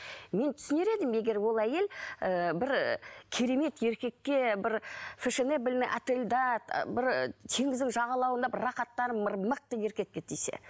мен түсінер едім егер ол әйел і бір керемет еркекке бір отельда бір теңіздің жағалауында бір рахаттанып бір мықты еркекке тисе